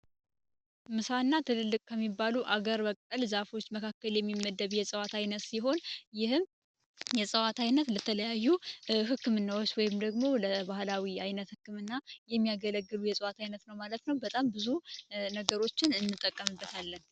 ምሳና ትልልቅ ከሚባሉ ሀገር በቀል እፅዋቶች የሚመደብ ሲሆን ይህም የዕፅዋት አይነት ለተለያዩ ህክምናዎች ወይንም ደግሞ ለባህላዊ አይነት ህክምና የሚያገለግል አይነት እፅዋት ነው ማለት ነው። በጣም ለብዙ ነገሮች እንጠቀምበታለን።